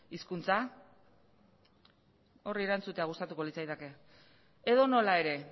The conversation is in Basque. hizkuntza horri erantzutea gustatuko litzaidake edonola ere